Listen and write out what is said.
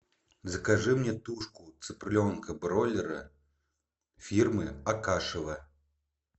закажи мне тушку цыпленка бройлера фирмы акашево